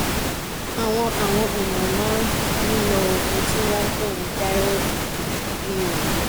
àwọn àwọn èèyàn máa ń lo oògùn tí wọ́n ń pè ní thyroid pill ní òwúrọ̀